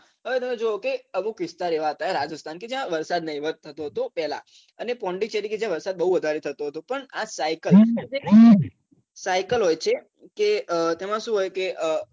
હવે તમે જુઓ કે અમુક વિસ્તાર એવાં હતાં રાજસ્થાન કે જ્યાં વરસાદ નહીવત થતો હતો પેહલાં અને પોન્ડુંચેરી કે જ્યાં વરસાદ બૌ વધારે થથો હતો પણ આ cycle cycle હોય છે કે તેમાં શું હોય કે